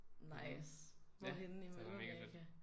Nice. Hvor henne i Mellemamerika?